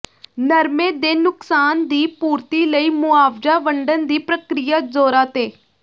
ਨਰਮੇ ਦੇ ਨੁਕਸਾਨ ਦੀ ਪੂਰਤੀ ਲਈ ਮੁਆਵਜਾ ਵੰਡਨ ਦੀ ਪ੍ਰਕ੍ਰਿਆ ਜੋਰਾਂ ਤੇ